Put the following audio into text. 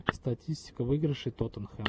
статистика выигрышей тоттенхэма